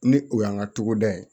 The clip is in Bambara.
Ni o y'an ka togoda ye